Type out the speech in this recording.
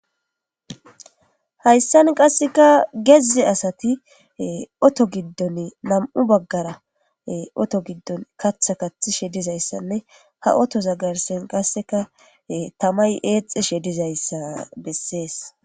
Hayssan qaaseika geze assatti otho gidon katha kaththishshe dizayssanne ha othoza garssan qaasseka tamay exxishshe dizayssa besses.